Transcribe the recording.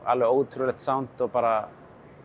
alveg ótrúlegt sánd og bara